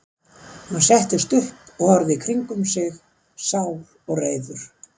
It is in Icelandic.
Hann settist upp og horfði í kringum sig, sár og reiður.